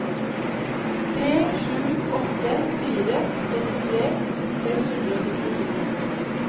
tre sju åtte fire sekstitre seks hundre og sekstito